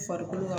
Farikolo ka